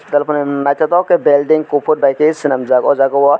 naitotok ke belding kopor bai ke selamjak o jaga o.